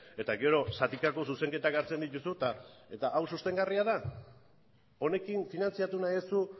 eta gero zatikako zuzenketak hartzen dituzu eta hau sostengarria da honekin finantzatu nahi duzu